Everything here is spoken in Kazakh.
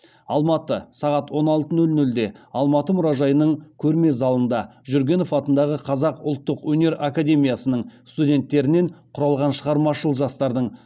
алматы сағат он алты нөл нөлде алматы мұражайының көрме залында жүргенов атындағы қазақ ұлттық өнер академиясының студентерінен құралған шығармашыл жастардың